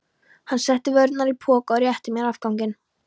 Hann setti vörurnar í poka og rétti mér afganginn.